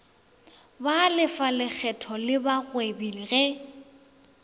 balefa lekgetho le bagwebi ge